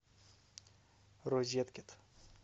розеткед